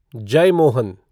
Jeyamohan